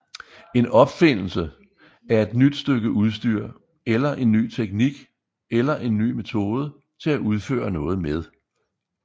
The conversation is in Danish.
En opfindelse er et nyt stykke udstyr eller en ny teknik eller en ny metode til at udføre noget med